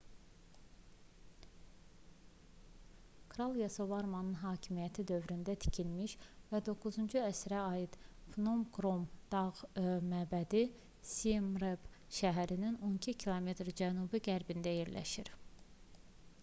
kral yasovarmanın hakimiyyəti dövründə tikilmiş və 9-cu əsrə aid phnom krom dağ məbədi siemreap şəhərinin 12 km cənub-qərbində yerləşir